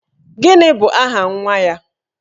Gini bụ aha nwa ya?